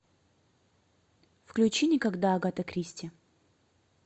включи никогда агата кристи